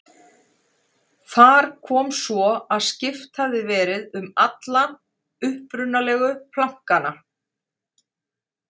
Þar kom svo að skipt hafði verið um alla upprunalegu plankana.